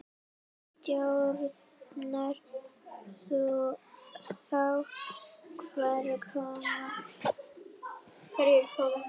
Stjórnar þú þá hverjir koma?